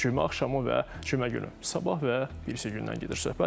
Cümə axşamı və cümə günü, sabah və birisi gündən gedir söhbət.